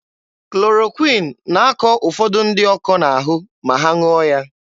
Klorokwịn na-akọ ụfọdụ ndị ọkọ n'ahụ ma ha ṅụọ ya.